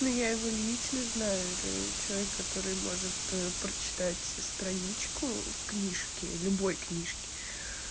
но я его лично знаю это человек который может прочитать страничку в книжке любой книжке